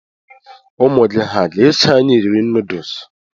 Ụmụ gị ha ga-eso anyị eri nuduls?